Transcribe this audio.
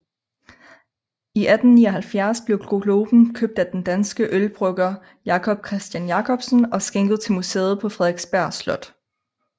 I 1879 blev globen købt af den danske ølbrygger Jacob Christian Jacobsen og skænket til museet på Frederiksborg Slot